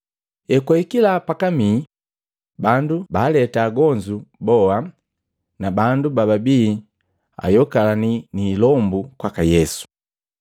Ekwahikila pakamii, bandu baaleta agonzu boa na bandu bababii ayokalani ni ilombu kwaka Yesu.